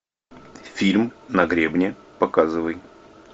фильм на гребне показывай